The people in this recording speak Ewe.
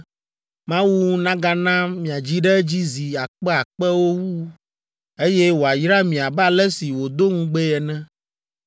Mawu nagana miadzi ɖe edzi zi akpeakpewo wu, eye wòayra mi abe ale si wòdo ŋugbee ene.